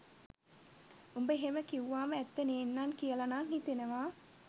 උඹ එහෙම කිව්වාමඇත්ත නේන්නං කියලා නං හිතෙනවා